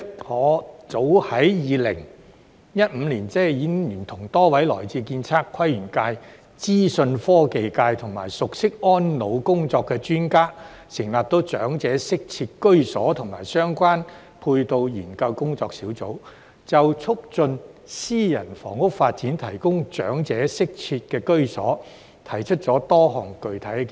我早於2015年，已聯同多位來自建測規園界、資訊科技界、以及熟悉安老工作的專家，成立長者適切居所及相關配套研究工作小組，就促進私人房屋發展提供長者適切居所，提出多項具體建議。